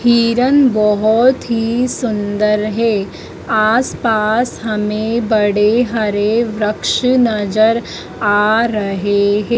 किरन बहोत ही सुंदर है आस पास हमें बड़े हरे वृक्ष नजर आ रहे हैं।